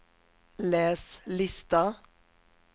läs lista